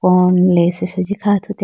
corn lays asenji kha athuti.